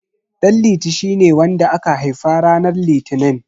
Ɗanliti shine wanda aka haifa ranar Litinin.